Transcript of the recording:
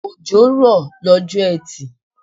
Òjò rọ lọ́jọ́ etì